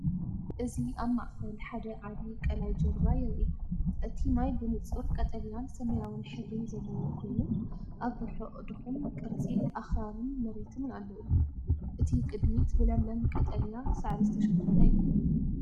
እዚ ኣብ ማእከል ሓደ ዓቢ ቀላይ ጃልባ የርኢ። እቲ ማይ ብንጹር ቀጠልያን ሰማያውን ሕብሪ ዘለዎ ኮይኑ፡ ኣብ ርሑቕ ድኹም ቅርጺ ኣኽራንን መሬትን ኣለዎ። እቲ ቅድሚት ብለምለም ቀጠልያ ሳዕሪ ዝተሸፈነ እዩ።